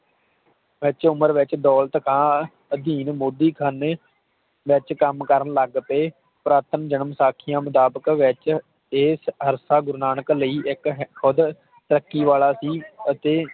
ਵਿਚ ਉਮਰ ਵਿਚ ਦੌਲਤ ਖਾਂ ਅਧੀਨ ਮੋਦੀ ਖ਼ਾਨੇ ਵਿਚ ਕੰਮ ਕਰਨ ਲਗ ਪਏ ਪ੍ਰਥਮ ਜਨਮ ਸਾਖੀਆਂ ਮੁਤਾਬਕ ਵਿਚ ਇਹ ਅਰਸਾ ਗੁਰੂ ਨਾਨਕ ਲਈ ਇਕ ਖੁਦ ਤਰੱਕੀ ਵਾਲਾ ਸੀ ਅਤੇ